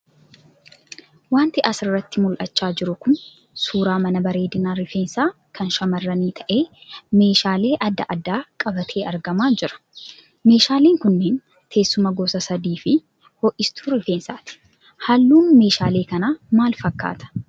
Wanti asirratti mul'achaa jiru kun suuraa mana bareedina rifeensaa kan shamarranii ta'e meeshaalee adda addaa qabatee argamaa jira. Meeshaaleen kunniin teessuma gosa sadii fi ho'istuu rifeensaati. Halluun meeshaalee kanaa maal fakkaata?